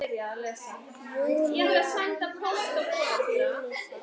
Júlía gat skilið það.